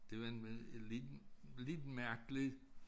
Det var en øh en liten lidt mærkelig